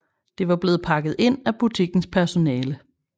Det var blevet pakket ind af butikkens personale